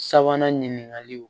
Sabanan ɲininkaliw